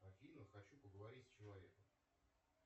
афина хочу поговорить с человеком